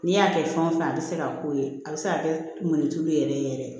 N'i y'a kɛ fɛn o fɛn a bɛ se ka k'o ye a bɛ se ka kɛ mɔnituru ye yɛrɛ yɛrɛ